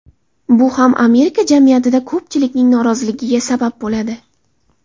Bu ham Amerika jamiyatida ko‘pchilikning noroziligiga sabab bo‘ladi.